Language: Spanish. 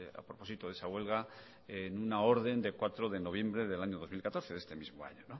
a propósito de esa huelga en una orden de cuatro de noviembre del año dos mil catorce de este mismo año